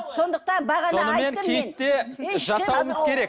сондықтан жасауымыз керек